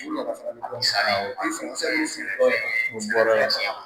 o bɔra yen